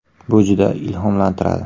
Bu juda ilhomlantiradi.